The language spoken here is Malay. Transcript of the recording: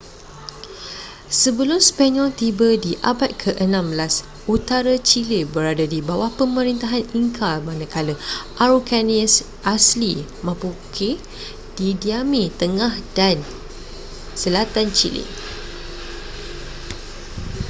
sebelum sepanyol tiba di abad ke-16 utara chile berada di bawah pemerintahan inca manakala araucanians asli mapuche didiami tengah dan selatan chile